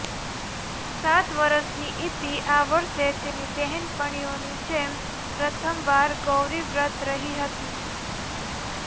સાત વરસની ઇતિ આ વરસે તેની બહેનપણીઓની જેમ પ્રથમ વાર ગૌરીવ્રત રહી હતી